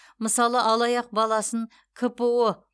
мысалы алаяқ баласын кпо